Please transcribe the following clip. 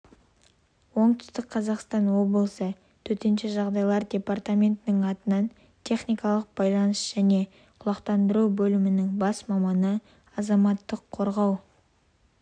оңтүстік қазақстан облысы төтенше жағдайлар департаментінің атынан техникалық байланыс және құлақтандыру бөлімінің бас маманы азаматтық қорғау